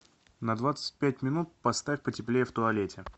на двадцать пять минут поставь потеплее в туалете